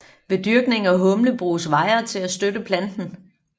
Ved dyrkning af humle bruges wirer til at støtte planten